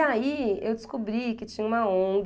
E aí eu descobri que tinha uma Ong...